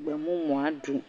gbemumua ɖum.